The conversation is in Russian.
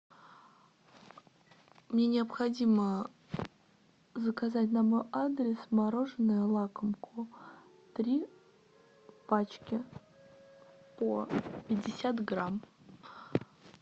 мне необходимо заказать на мой адрес мороженое лакомку три пачки по пятьдесят грамм